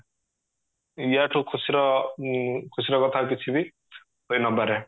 ୟା ଠୁ ଖୁସିର ଅ ଖୁସୀର କଥା କିଛି ବି ହୋଇନପାରେ